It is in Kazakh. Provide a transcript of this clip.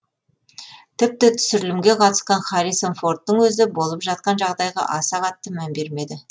тіпті түсірілімге қатысқан харрисон фордтың өзі болып жатқан жағдайға аса қатты мән бермеді